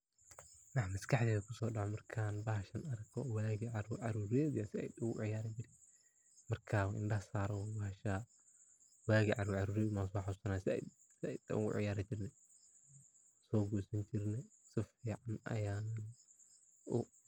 Waxa maskaxdeyda kusodaco markan bashan arko waga caru carureyda an sait ugaciyari jirey markan indaha sarawa basha waga carur careyda an soxasusana sait an ugaciyarni jirey waso gosin jirni sait ayan ugu.